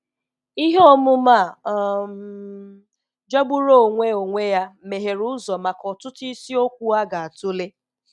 Ihe omume a um jọgburu onwe onwe ya meghere ụzọ maka ọtụtụ isiokwu a ga-atụle.